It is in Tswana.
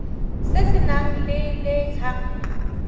se se nang le letlha